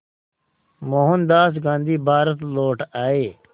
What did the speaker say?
मोहनदास गांधी भारत लौट आए